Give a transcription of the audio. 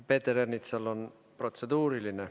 Peeter Ernitsal on protseduuriline.